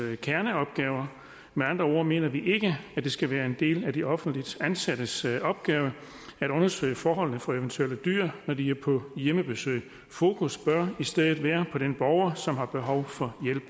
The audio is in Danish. kerneopgaver med andre ord mener vi ikke at det skal være en del af de offentligt ansattes opgave at undersøge forholdene for eventuelle dyr når de er på hjemmebesøg fokus bør i stedet være på den borger som har behov for hjælp